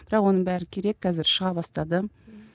бірақ оның бәрі керек қазір шыға бастады